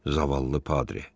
Zavallı Padri.